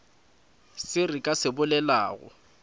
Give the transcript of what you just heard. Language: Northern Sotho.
se re ka se bolelago